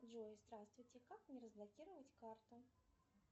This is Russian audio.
джой здравствуйте как мне разблокировать карту